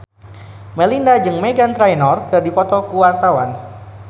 Melinda jeung Meghan Trainor keur dipoto ku wartawan